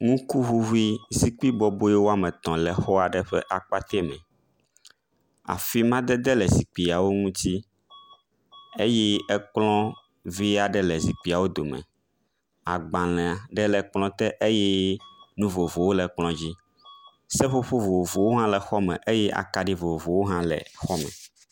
ŋukuʋuʋu ƒe zikpi bɔboe wɔmetɔ̃ le exɔɖe ƒe akpate me afi madede le zikpiawo ŋti eye ekplɔ̃ vi aɖe le zikpiawo dome agbalē ɖe le kplɔ̃ te eye nu vovowo le kplɔa dzi seƒoƒo vovovowo hã le xɔme eye akaɖi vovovowo hã le xɔme